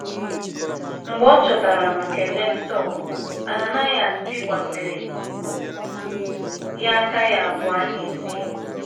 Mgbe ọ chọtara ma kelee Sọl, Ananaịas bikwasịrị ya aka ya abụọ n’isi.